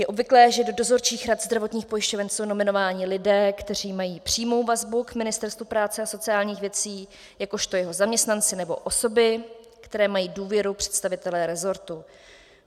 Je obvyklé, že do dozorčích rad zdravotních pojišťoven jsou nominováni lidé, kteří mají přímou vazbu k Ministerstvu práce a sociálních věcí jakožto jeho zaměstnanci nebo osoby, které mají důvěru představitele rezortu.